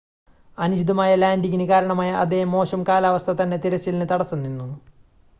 അനുചിതമായ ലാൻഡിംങിന് കാരണമായ അതേ മോശം കാലാവസ്ഥ തന്നെ തിരച്ചിലിന് തടസ്സം നിന്നു